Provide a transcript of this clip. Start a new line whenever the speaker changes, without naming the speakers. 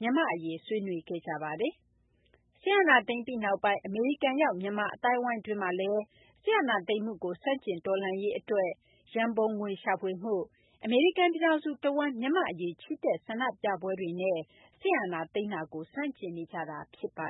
မြန်မာ့အရေး ဆွေးနွေးခဲ့ကြပါတယ်။ စစ်အာဏာသိမ်းပြီးနောက်ပိုင်း အမေရိကန်ရောက် မြန်မာအသိုင်းအဝိုင်းတွင်းမှာလည်း စစ်အာဏာသိမ်းမှုကို ဆန့်ကျင် တော်လှန်ရေးအတွက် ရန်ပုံငွေရှာဖွေမှု၊ အမေရိကန် ပြည်ထောင်စုတဝန်း မြန်မာ့အရေး ချီတက်ဆန္ဒပြပွဲတွေနဲ့ စစ်အာဏာသိမ်းမှုကို ဆန့်ကျင်နေကြတာ ဖြစ်ပါ